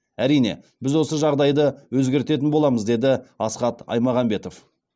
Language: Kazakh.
әрине біз осы жағдайды өзгертетін боламыз деді асхат аймағамбетов